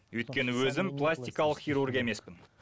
өйткені өзім пластикалық хирург емеспін